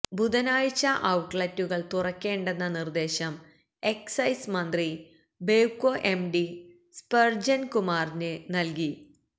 ബുധനാഴ്ച ഔട്ട്ലറ്റുകൾ തുറക്കേണ്ടെന്ന നിർദ്ദേശം എക്സൈസ് മന്ത്രി ബെവ്കോ എംഡി സ്പർജൻ കുമാറിന് നൽകി